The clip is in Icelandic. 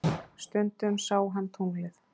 Stundum sá hann tunglið.